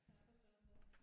Ja for søren da